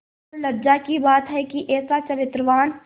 और लज्जा की बात है कि ऐसा चरित्रवान